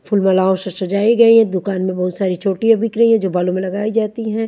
फूल बलाओ से सजाई गई है दुकान में बहुत सारी चोटियाँ बिक रही हैं जो बालो में लगाई जाती हैं।